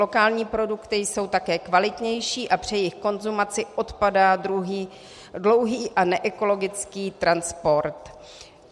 Lokální produkty jsou také kvalitnější a při jejich konzumaci odpadá dlouhý a neekologický transport.